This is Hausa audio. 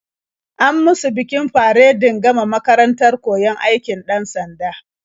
An musu bikin faredin gama makarantar koyon aikin 'dan-sanda.